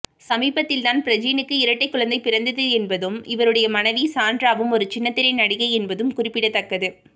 சமீபத்தில்தான் பிரஜினுக்கு இரட்டை குழந்தை பிறந்தது என்பதும் இவருடைய மனைவி சாண்ட்ராவும் ஒரு சின்னத்திரை நடிகை என்பதும் குறிப்பிடத்தக்கது